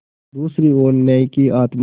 दूसरी ओर न्याय की आत्मा